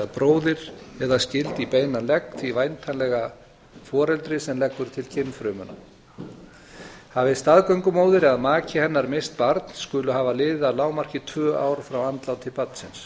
bróðir eða skyld í beinan legg því væntanlega foreldri sem leggur til kynfrumuna hafi staðgöngumóðir eða maki hennar misst barn skulu hafa liðið að lágmarki tvö ár frá andláti barnsins